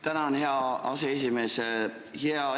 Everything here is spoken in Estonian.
Tänan, hea aseesimees!